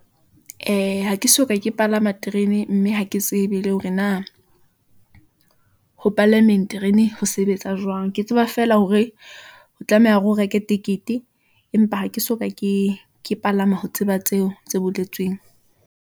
Ee, ha ke soka ke palama terene, mme ha ke tsebe le hore na ho palameng terene ho sebetsa jwang, ke tseba feela hore ho tlameha hore o reke tekete . Empa ha ke soka, ke palama ho tseba tseo, tse boletsweng.